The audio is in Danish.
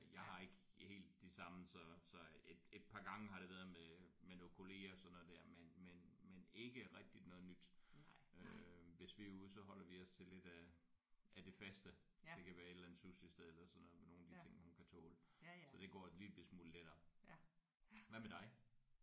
Jeg har ikke helt de samme så så et et par gange har det været med med noget kollegaer og sådan noget der men men men ikke rigtig noget nyt. Øh hvis vi er ude så holder vi os til lidt af af det faste. Det kan være et eller andet sushisted eller sådan noget. Nogle af de ting hun kan tåle så det går en lille bitte smule lettere. Hvad med dig?